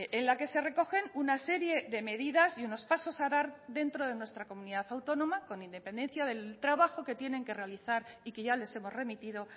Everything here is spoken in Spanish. en la que se recogen una serie de medidas y unos pasos a dar dentro de nuestra comunidad autónoma con independencia del trabajo que tienen que realizar y que ya les hemos remitido